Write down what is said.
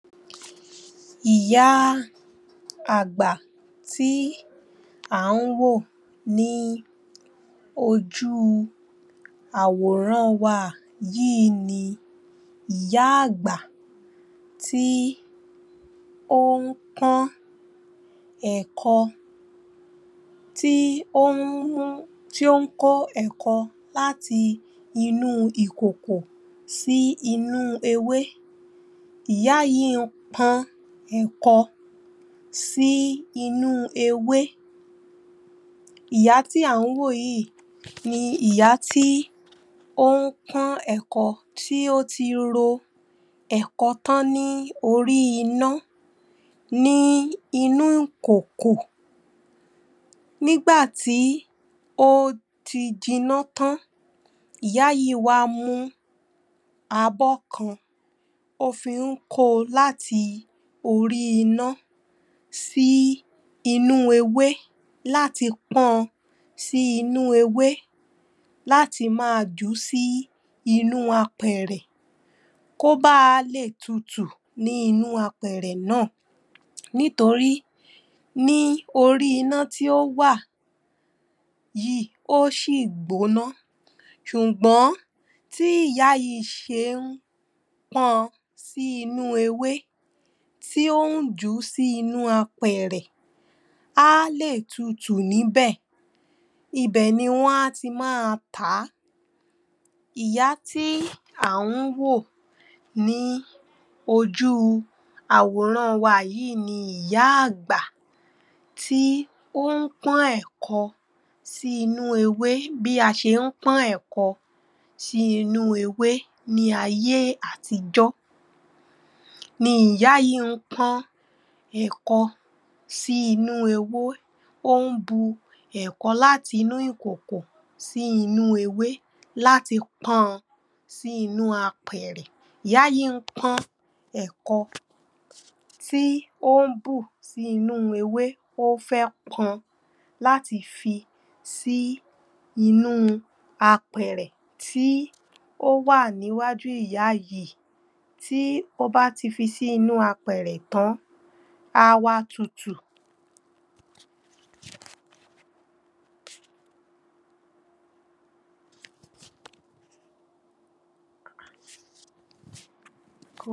Ìyá àgbà tí à ń wò ní ojú àwòràn wa yìí ni ìyá àgbà tí ó ń pọ́n ẹ̀kọ, tí ó ń kó ẹ̀kọ láti inú ìkòkò sí inú ewé Ìyá yìí ń pọ́n ẹ̀kọ sí inú ewé Ìyá tí à ń wò yìí ni ìyá tí ó ń pọ́n ẹ̀kọ tí ó ti ro ẹ̀kọ tán ní orí iná ní inú ìkòkò nígbà tí ó ti jinná tán ìyá yìí wá mú abọ́ kan ó fi ń ko láti orí iná sí inú ewé...láti pọn sí inú ewé láti máa jùú sí inú apẹ̀ẹ̀rẹ̀ kó ba lè tutù ní inú apẹ̀ẹ̀rẹ̀ náà nítorí ní orí iná tí ó wà yìí ó ṣì gbóná ṣùgbọ́n bí ìyá yìí ṣe ń pọn sí inú ewé tí ó ń jùú sí inú apẹ̀ẹ̀rẹ̀ á lè tutù níbẹ̀ Ibẹ̀ ni wọ́n á ti máa tàá Ìyá tí à ń wò ní ojú àwòràn wa yìí ni ìyá àgbà tí ó ń pọ́n ẹ̀kọ sí inú ewé bí a ṣe ń pọ́n ẹ̀kọ sí inú ewé ní ayé àtijọ́ ni ìyá yìí ń pọ́n ẹ̀kọ sí inú ewé, ó ń bu ẹ̀kọ láti inú ìkòkò sí inú ewé láti pọ́n ọn sí inú apẹ̀ẹ̀rẹ̀. Ìyá yìí ń pọ́n ẹ̀kọ tí ó ń bù sí inú ewé ó fẹ́ pọn láti fi sí inú apẹ̀ẹ̀rẹ̀ tí ó wà níwájú ìyá yìí tí ó bá ti fi sí inú apẹ̀ẹ̀rẹ̀ tán á wá tutù